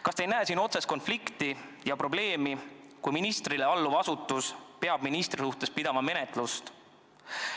Kas te ei näe siin otsest konflikti ja probleemi, kui ministrile alluv asutus peab ministri suhtes menetlust läbi viima?